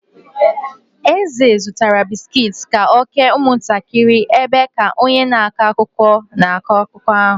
Eze zụtara bisikiiti ka ọ kee ụmụntakịrị ebe ka onye na-akọ akụkọ na-akọrọ ha akụkọ.